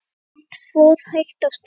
Hann fór hægt af stað.